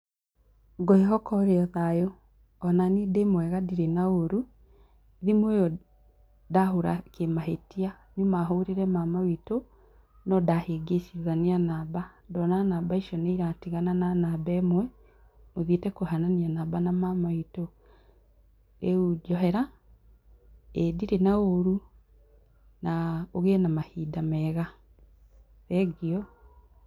Gwĩhoka ũri thayũ. Onaniĩ ndĩ mwega na ndirĩ na ũrũ, thimũ ĩyo ndahũra kĩmahĩtia nyũma hũrĩre mama witũ nondahĩngicithia namba. Ndona namba icio nĩiratigana na namba ĩmwe ĩthiete kũhanana na mama witũ. Rĩu njohera ĩĩ ndirĩ na ũru na ũgĩe na mahinda mega. Thengiũ. .